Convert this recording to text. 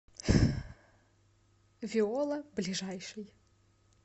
виола ближайший